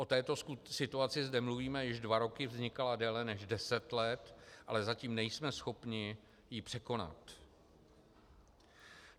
O této situaci zde mluvíme již dva roky, vznikala déle než deset let, ale zatím nejsme schopni ji překonat.